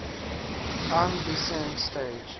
lm descent stage